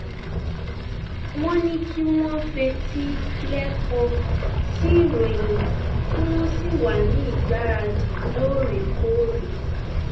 wọn ní kí wọn fetí lẹkọ sí ìròyìn kí wọn sì wà ní ìgbáradì lóòrèkóòrè